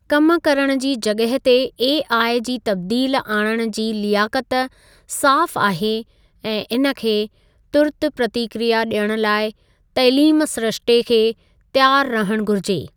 कम करण जी जॻहि ते ऐआई जी तब्दील आणण जी लियाक़त साफ़ आहे ऐं इन खे तुर्त प्रतिक्रिया ॾियण लाइ तइलीम सिरिश्ते खे त्यारु रहणु घुरिजे।